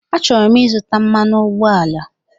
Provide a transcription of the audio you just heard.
Achọrọ m izuta mmanụ ụgbọala